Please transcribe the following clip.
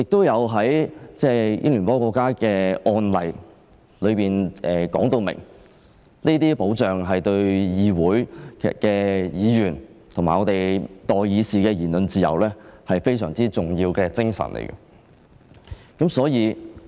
英聯邦國家的案例說明，這些保障對議會的議員及代議士的言論自由非常重要。